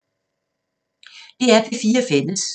DR P4 Fælles